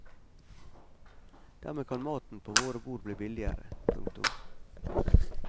Dermed kan maten på våre bord bli billigere. punktum